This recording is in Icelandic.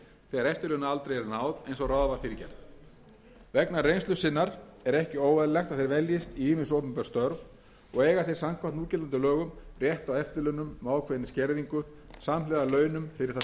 er náð eins og ráð var fyrir gert vegna reynslu sinnar er ekki óeðlilegt að þeir veljist í ýmis opinber störf og eiga þeir samkvæmt núgildandi lögum rétt á eftirlaunum með ákveðinni skerðingu samhliða launum fyrir það starf sem þeir